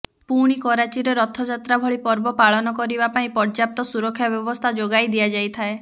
ପୁଣି କରାଚୀରେ ରଥ ଯାତ୍ରା ଭଳି ପର୍ବ ପାଳନ କରିବା ପାଇଁ ପର୍ଯ୍ୟାପ୍ତ ସୁରକ୍ଷା ବ୍ୟବସ୍ଥା ଯୋଗାଇ ଦିଆଯାଇଥାଏ